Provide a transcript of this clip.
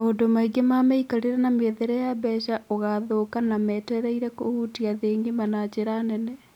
Maũndũ maingĩ ma mĩikarĩre na mĩethere ya mbeca ũgathũka na metereire kũhutia thĩ ng'ima na njĩra nene.